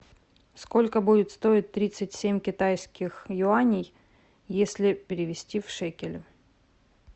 сколько будет стоить тридцать семь китайских юаней если перевести в шекели